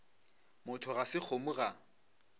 motho ga se kgomo ga